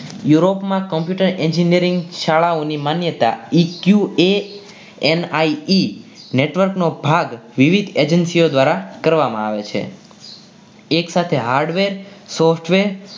Europe માં ની શાળાઓની માન્યતા એક uam network નો ભાગ વિવિધ agency ઓ દ્વારા કરવામાં આવે છે એક સાથે hardware software